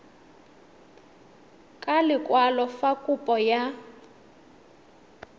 ka lekwalo fa kopo ya